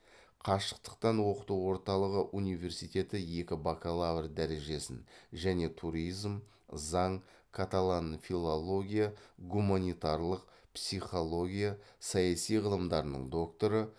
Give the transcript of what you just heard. қашықтықтан оқыту орталығы университеті екі бакалавр дәрежесін және туризм заң каталан филология гуманитарлық психология саяси ғылымдарының докторы